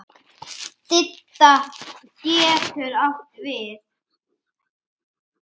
Didda getur átt við